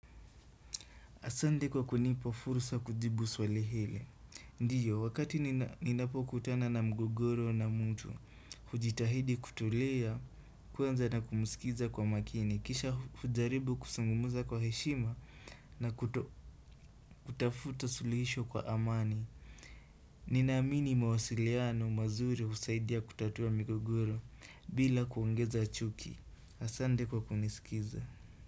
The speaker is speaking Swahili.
Asante kwa kunipa fursa ya kujibu swali hili. Ndiyo, wakati ninapo kutana na mgogoro na mtu, hujitahidi kutulia, kwanza na kumsikiza kwa makini, kisha hujaribu kuzungumza kwa heshima na kutafuta suluhisho kwa amani. Ninaamini mawasiliano mazuri husaidia kutatua mgogoro bila kuongeza chuki. Asante kwa kunisikiza.